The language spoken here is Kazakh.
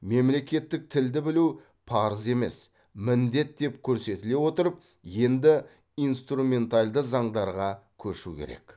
мемлекеттік тілді білу парыз емес міндет деп көрсетіле отырып енді инструменталды заңдарға көшу керек